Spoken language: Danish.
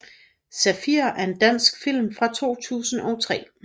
Zafir er en dansk film fra 2003